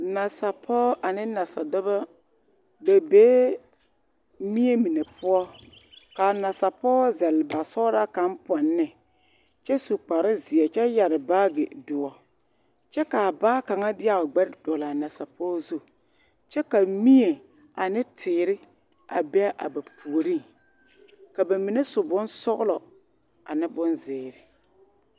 Nasapɔɔ ane nasadɔbɔ ba bee mie mine poɔ kaa nasapɔɔ zɛl basɔglaa kaŋ pɔnne kyɛ su kparrezeɛ kyɛ yɛre baage doɔ kyɛ kaa baa kaŋa deɛ a o gbɛre kaŋa dɔglaa nasapɔge gbɛre zu kyɛ ka mie ane teere a bee a ba pureŋ ka ba mine su bonsɔglɔ ane bonzeere.